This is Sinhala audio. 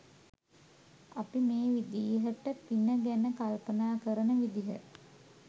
අපි මේ විදිහට පින ගැන කල්පනා කරන විදිහ